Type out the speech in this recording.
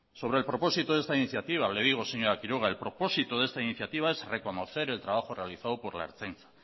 el propósito de esta iniciativa señora quiroga es reconocer el trabajo realizado por la ertzaintza